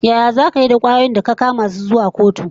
Yaya zaka yi da kwayoyin da ka kama su zuwa kotu?